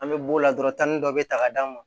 An bɛ b'o la dɔrɔn tan ni dɔ bɛ ta k'a d'a ma